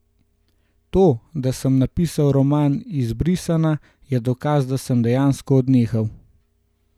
To, da sem napisal roman Izbrisana, je dokaz, da sem dejansko odnehal.